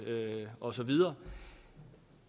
osv lyder